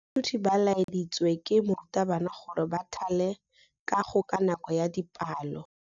Baithuti ba laeditswe ke morutabana gore ba thale kagô ka nako ya dipalô.